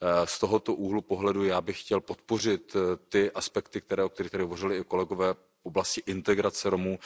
Z tohoto úhlu pohledu já bych chtěl podpořit ty aspekty, o kterých tu hovořili i kolegové v oblasti integrace Romů.